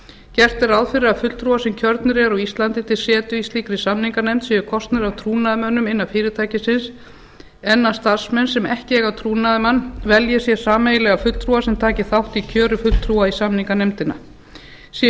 gert er ráð fyrir því að fulltrúar sem kjörnir eru á íslandi til setu í slíkri samninganefnd séu kosnir af trúnaðarmönnum innan fyrirtækisins en að starfsmenn sem ekki eiga trúnaðarmann velji sér sameiginlegan fulltrúa sem taki þátt í kjöri fulltrúa í samninganefndina séu